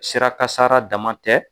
Sira kasara dama tɛ.